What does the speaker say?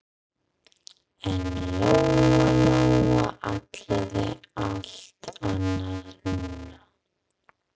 En Lóa Lóa ætlaði allt annað núna.